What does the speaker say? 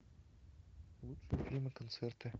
лучшие фильмы концерты